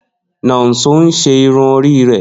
Nonso n ṣe irun ori rẹ.